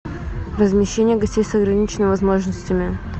размещение гостей с ограниченными возможностями